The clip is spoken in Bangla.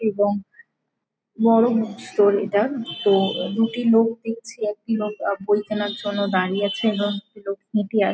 এবং নরম স্টোরি -টা তো দুটি লোক দেখছি | একটি লোক বই কেনার জন্য দাঁড়িয়ে আছে | এবং একটি লোক নিতে আস--